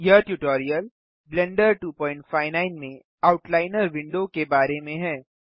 यह tutorial blender 259 में outliner window के बारे में है